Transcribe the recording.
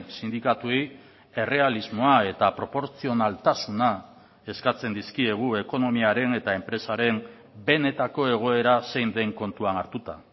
sindikatuei errealismoa eta proportzionaltasuna eskatzen dizkiegu ekonomiaren eta enpresaren benetako egoera zein den kontuan hartuta